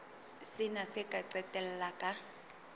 sena se ka qetella ka